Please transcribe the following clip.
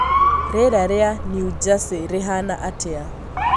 rĩera rĩa new jersey rĩhana atĩa